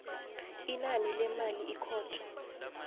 inani lemali ikhotho